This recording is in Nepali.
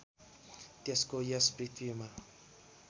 त्यसको यस पृथ्वीमा